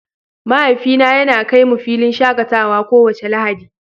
mahaifi na yana kai mu filin shakatawa kowace Lahadi.